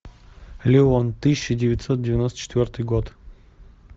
леон тысяча девятьсот девяносто четвертый год